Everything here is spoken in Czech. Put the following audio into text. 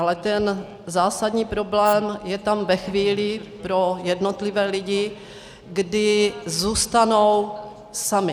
Ale ten zásadní problém je tam ve chvíli pro jednotlivé lidi, kdy zůstanou sami.